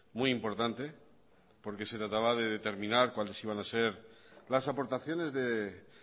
muy importante porque se trataba de determinar cuáles iban a ser las aportaciones de